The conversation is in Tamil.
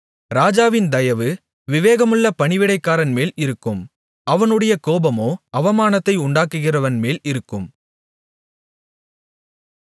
ராஜாவின் தயவு விவேகமுள்ள பணிவிடைக்காரன்மேல் இருக்கும் அவனுடைய கோபமோ அவமானத்தை உண்டாக்குகிறவன்மேல் இருக்கும்